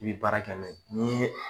I bi baara kɛ n'o ye n'i ye